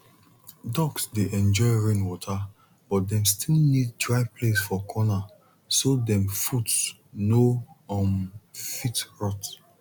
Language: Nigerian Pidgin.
ducks dey enjoy rainwater but dem still need dry place for corner so dem foot no um fit rot